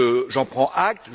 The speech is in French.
J'en prends acte.